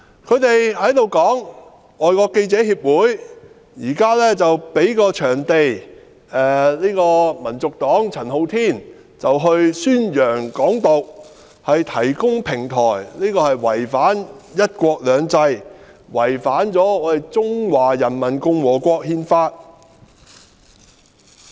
他們指，香港外國記者會提供場地或平台給香港民族黨的陳浩天宣揚"港獨"，違反"一國兩制"，違反《中華人民共和國憲法》。